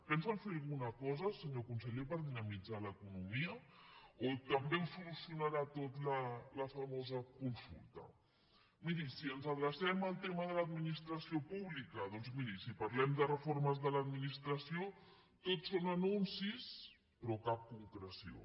pensen fer alguna cosa senyor conseller per dinamitzar l’economia o també ho solucionarà tot la famosa consulta miri si ens adrecem al tema de l’administració pública doncs miri si parlem de reformes de l’administració tot són anuncis però cap concreció